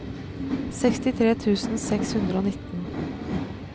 sekstitre tusen seks hundre og nitten